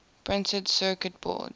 printed circuit boards